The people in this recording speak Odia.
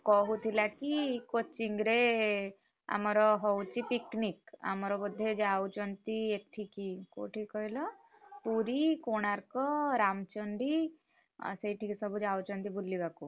କହୁଥିଲା କି coaching ରେ, ଆମର ହଉଛି picnic ଆମର ବୋଧେ ଯାଉଛନ୍ତି ଏଠିକି କୋଉଠିକି କହିଲ ପୁରୀ, କୋଣାର୍କ, ରାମଚଣ୍ଡୀ, ଅ ସେଇଠିକି ସବୁ ଯାଉଛନ୍ତି ବୁଲିବାକୁ।